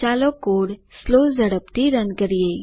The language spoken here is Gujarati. ચાલો કોડ સ્લો ઝડપથી રન કરીએ